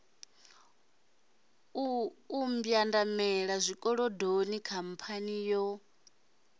u mbwandamela zwikolodoni khamphani yo